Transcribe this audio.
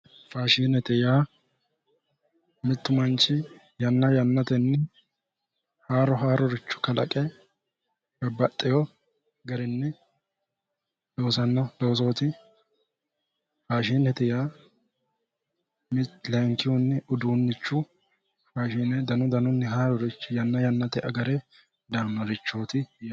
Faashinete yaa mittu manchi yanna yannatenni haaro haaroricho kalaqe babbaxxewo garinni loosanno loosooti faashinete yaa layinkihunni uduunnichu faashine danu danunni haarurichi yanna yannate agare daannorichooti yaate